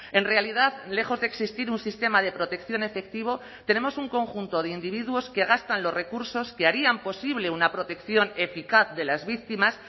en realidad lejos de existir un sistema de protección efectivo tenemos un conjunto de individuos que gastan los recursos que harían posible una protección eficaz de las víctimas